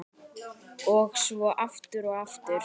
Og svo aftur og aftur.